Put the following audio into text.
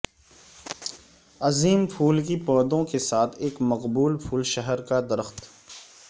عظیم پھول کی پودوں کے ساتھ ایک مقبول پھول شہر کا درخت